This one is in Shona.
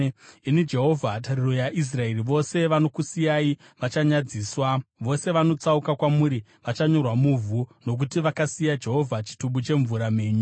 Imi Jehovha, tariro yaIsraeri, vose vanokusiyai vachanyadziswa. Vose vanotsauka kwamuri vachanyorwa muvhu, nokuti vakasiya Jehovha, chitubu chemvura mhenyu.